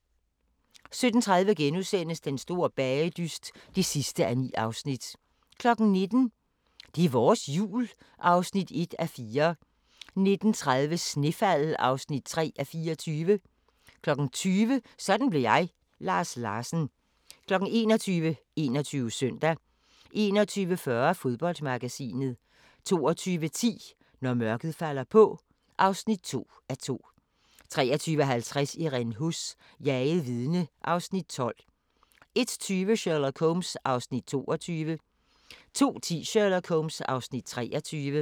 17:30: Den store bagedyst (9:9)* 19:00: Det er vores Jul (1:4) 19:30: Snefald (3:24) 20:00: Sådan blev jeg – Lars Larsen 21:00: 21 Søndag 21:40: Fodboldmagasinet 22:10: Når mørket falder på (2:2) 23:50: Irene Huss: Jaget vidne (Afs. 12) 01:20: Sherlock Holmes (Afs. 22) 02:10: Sherlock Holmes (Afs. 23)